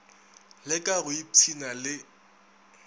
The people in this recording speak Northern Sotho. le ka go ipshina le